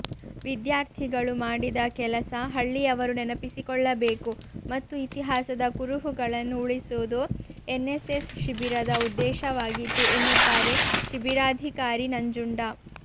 ವಿದ್ಯಾರ್ಥಿಗಳು ಮಾಡಿದ ಕೆಲಸ ಹಳ್ಳಿಯವರು ನೆನಪಿಸಿಕೊಳ್ಳುಬೇಕು ಮತ್ತು ಇತಿಹಾಸದ ಕುರುಹುಗಳನ್ನು ಉಳಿಸುವುದು ಎನ್ಎಸ್ಎಸ್ ಶಿಬಿರದ ಉದ್ದೇಶವಾಗಿತ್ತು ಎನ್ನುತ್ತಾರೆ ಶಿಬಿರಾಧಿಕಾರಿ ನಂಜುಂಡ